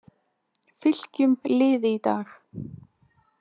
Fylkjum liði í dag-